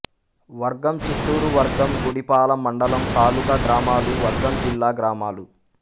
వర్గంచిత్తూరు వర్గం గుడిపాల మండలం తాలూకా గ్రామాలు వర్గంజిల్లా గ్రామాలు